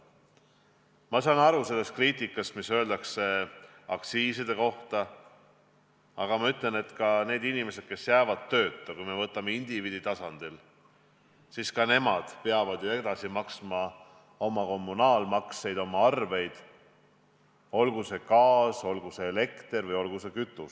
Ma saan aru kriitikast, mida tehakse aktsiisi vähendamise kohta, aga ma ütlen, et ka need inimesed, kes jäävad tööta – kui me vaatame olukorda indiviidi tasandilt –, peavad maksma edasi oma kommunaalmakseid, arveid, olgu see gaas, olgu see elekter, olgu see kütus.